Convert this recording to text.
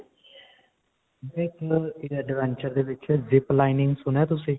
adventure ਦੇ ਵਿੱਚ zip lining ਸੁਣਿਆ ਤੁਸੀਂ?